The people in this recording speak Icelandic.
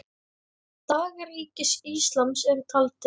Dagar Ríkis íslams eru taldir.